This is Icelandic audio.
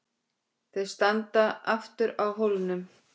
Þau standa aftur á hólnum.